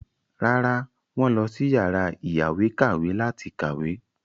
Rárá, wọ́n lọ sí yàrá ìyáwèékàwé láti kàwé.